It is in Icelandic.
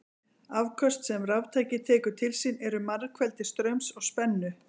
Afköst sem raftæki tekur til sín eru margfeldi straums og spennu.